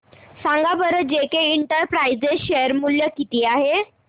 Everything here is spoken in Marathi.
सांगा बरं जेके इंटरप्राइजेज शेअर मूल्य किती आहे